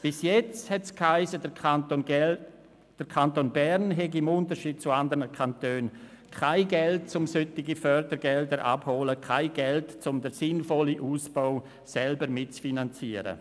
Bis jetzt hiess es, der Kanton Bern habe, im Unterschied zu anderen Kantonen, kein Geld, um solche Fördergelder abzuholen, kein Geld, um den sinnvollen Ausbau selber mitzufinanzieren.